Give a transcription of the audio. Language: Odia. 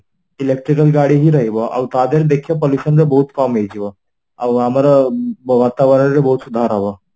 electrical ଗାଡି ହିଁ ରହିବ ଆଉ ତା ଦିହରେ ଦେଖିବ pollution ର ବହୁତ କାମ ହେଇଯିବ ଆଉ ଆମର ବାତାବରଣରେ ବହୁତ ସୁଧାର ହବ